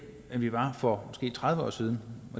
end vi var for måske tredive år siden